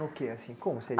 que assim. Como